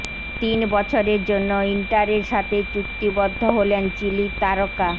তিন বছরের জন্য ইন্টারের সাথে চুক্তিবদ্ধ হলেন চিলির তারকা